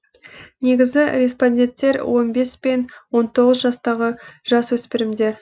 негізгі респонденттер он бепс пен он тоғыз жастағы жасөспірімдер